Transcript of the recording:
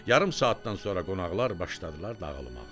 Yarım saatdan sonra qonaqlar başladılar dağılmağa.